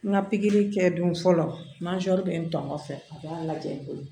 N ka pikiri kɛ dun fɔlɔ n'a sɔɔri bɛ n tɔɔrɔ fɛ a b'a lajɛ n bolo